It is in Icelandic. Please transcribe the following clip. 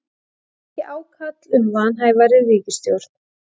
Ekki ákall um vanhæfari ríkisstjórn